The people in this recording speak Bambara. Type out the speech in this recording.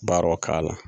Baaraw k'a la